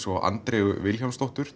og Andreu Vilhjálmsdóttur